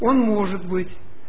он может быть